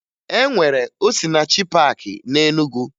E nwere Osinachi paakị na Enugu